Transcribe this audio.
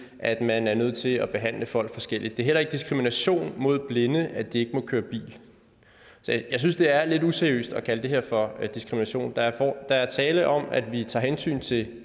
at man er nødt til at behandle folk forskelligt det er heller ikke diskrimination mod blinde at de ikke må køre bil jeg synes det er lidt useriøst at kalde det her for diskrimination der er tale om at vi tager hensyn til